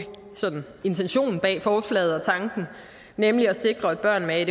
intention bag forslaget nemlig at sikre at børn med